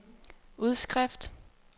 udskrift